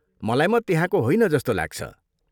मलाई म त्यहाँको होइन जस्तो लाग्छ।